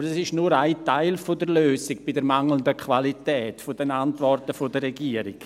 Aber das ist nur ein Teil der Lösung bei der mangelnden Qualität der Antworten der Regierung.